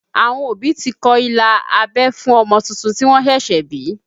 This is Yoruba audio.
Àwọn òbí ti kọ ilà abẹ́ fún ọmọ tuntun tí wọ́n ṣẹ̀ṣẹ̀ bí